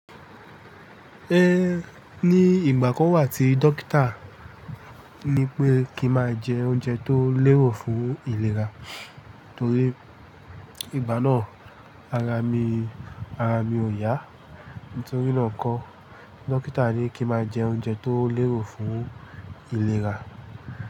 Ẹ ní ìgbà kọ́ wà tí dókítà ní pé kí máa jẹ oúnjẹ tó lérò fún ìlera torí ìgbà náà ara mi, ara mi ò yá n torí náà kọ́ dókítà ní kí máa jẹ oúnjẹ tó lérò fún ìlera.